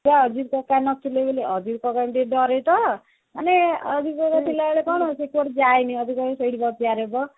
ଆଚ୍ଛା ଅଜିତ କକା ଦୋକାନରେ ନ ଥିଲେ ବୋଲି ଆଜିତ କାକଙ୍କୁ ଟିକେ ଡରେ ତ ମାନେ ଆଜିତ କକା ଥିଲା ବେଳେ କଣ ସେ କୁଆଡେ ଯାଏନି ଆଜିତ କକା କହିବେ ସେଇଠି ସେ chair ରେ bus